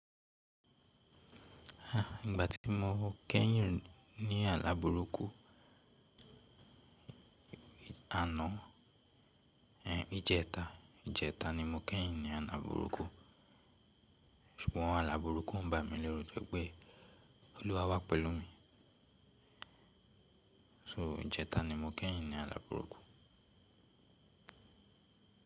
Ah, ìgbà tí mo kẹ́yìn ní àlá burúkú, àná, ẹh, ijẹta, ijẹta ni mo kẹ́yìn ní àlá burúkú. Ṣùgbọ́n àlá burúkú o n bà mí leru tori pé Olúwa wà pẹ̀lú mi. So ijẹta ni mo kẹ́yìn ní àlá burúkú.